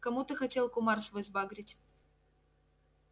кому ты хотел кумар свой сбагрить